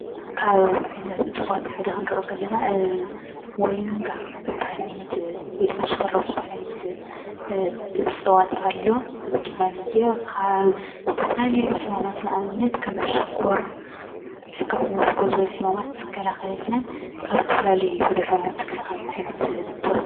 ካበ ዓይነት ዕፅዋት ሓደ ክንሪኢ ከለና ሞሪጋ ዝበሃል ዓይነት ወይድማ ሽፈራው ዝበሃል ዓይነት ዕፅዋት አሎ፡፡ እዚ ድማንየ ኻብ ዝተፈላለዩ ሕማማት ንአብነት ከም ሽኮር ፣ ሕክምና ዘድልዮም ሕማማት ዝከላኸለልናን ካብ ዝተፈላለዩ ድሮናት ዝከላኸለልና ዓይነት ዕፅዋት እዩ፡፡